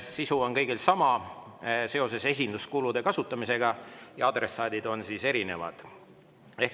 Sisu on kõigil sama – esinduskulude kasutamise kohta –, aga adressaadid on erinevad.